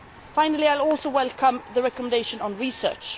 Finally, I also welcome the recommendations on research.